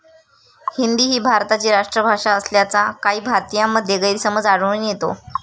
हिंदी ही भारताची राष्ट्रभाषा असल्याचा काही भारतीयांमध्ये गैरसमज आढळून येतो.